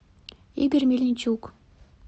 игорь мельничук